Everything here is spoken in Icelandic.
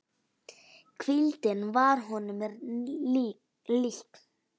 Hvíldin varð honum líkn.